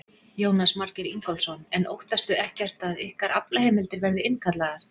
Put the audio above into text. Jónas Margeir Ingólfsson: En óttastu ekkert að ykkar aflaheimildir verði innkallaðar?